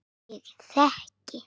Ég þekki